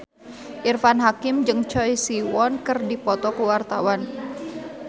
Irfan Hakim jeung Choi Siwon keur dipoto ku wartawan